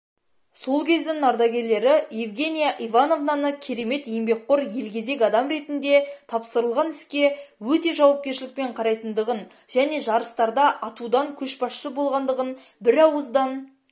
сол кездің ардагерлері евгения ивановнаны керемет еңбекқор елгезек адам ретінде тапсырылған іске өте жауапкершілікпен қарайтындығын және жарыстарда атудан көшбасшы болғандығын бірауыздан